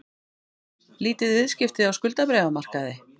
Lítil viðskipti á skuldabréfamarkaði